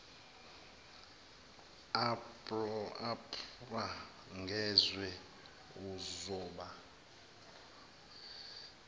aprm ngezwe uzoba